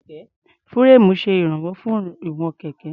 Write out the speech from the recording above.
Fúréèmù ṣe ìránwọ́ fún ìwọ̀n kẹ̀kẹ́.